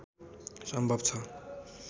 सम्भव छ